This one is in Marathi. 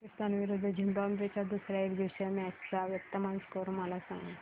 पाकिस्तान विरुद्ध झिम्बाब्वे च्या दुसर्या एकदिवसीय मॅच चा वर्तमान स्कोर मला सांगा